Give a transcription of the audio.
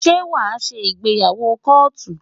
Ṣé wàá ṣe ìgbéyàwó kóòtù?